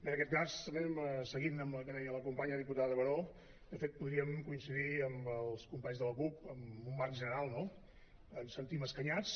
en aquest cas també seguint amb el que deia la companya diputada baró de fet podríem coincidir amb els companys de la cup en un marc general no ens sentim escanyats